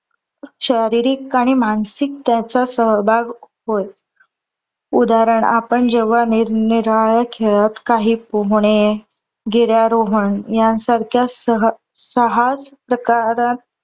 शारीरिक आणि मानसिक त्याचा सहभाग होय. उदाहरण आपण जेव्हा निरनिराळ्या खेळात काही पोहणे, गिर्यारोहन यांसारख्या सहास प्रकारात